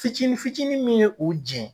ficinin ficinin min ye o jɛn.